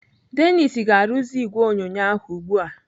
Dennis ga-arụzi ìgwè onyonyo ahụ ugbu a.